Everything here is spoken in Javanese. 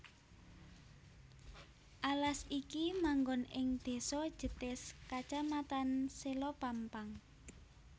Alas iki manggon ing désa Jetis kacamatan Selopampang